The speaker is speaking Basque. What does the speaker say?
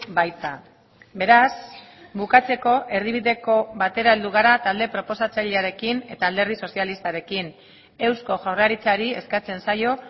baita beraz bukatzeko erdibideko batera heldu gara talde proposatzailearekin eta alderdi sozialistarekin eusko jaurlaritzari eskatzen zaio